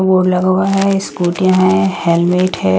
Board लगा हुआ हैं स्कूटियाँ हैं हेलमेट हैं ।